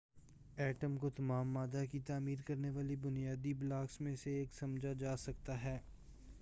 atom کو تمام مادہ کی تعمیر کرنے والے بنیادی بلاکس میں سے ایک سمجھا جا سکتا ہے